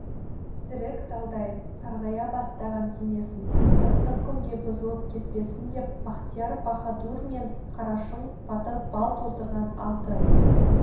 зірік талдай сарғая бастаған денесін ыстық күнге бұзылып кетпесін деп бахтияр баһадур мен қарашың батыр бал толтырған алты